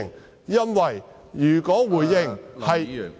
這是因為，如果回應......